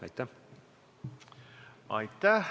Aitäh!